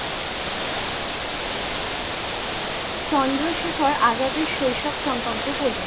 চন্দ্রশেখর আজাদের শৈশব সম্পর্কে বলো?